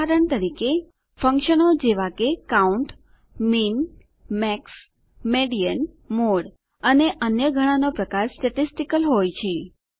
ઉદાહરણ તરીકે ફંકશનો જેવા કે count min max median mode અને અન્ય ઘણા નો પ્રકાર સ્ટેટીસ્ટીકલ હોય છે